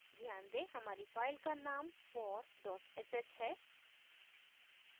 ध्यान दें हमारी फाइल का नाम for sh है